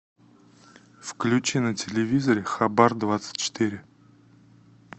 включи на телевизоре хабар двадцать четыре